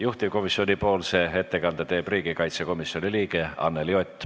Juhtivkomisjoni ettekande teeb riigikaitsekomisjoni liige Anneli Ott.